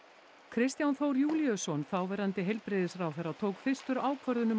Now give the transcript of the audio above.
Kristján Þór Júlíusson þáverandi heilbrigðisráðherra tók fyrstur ákvörðun um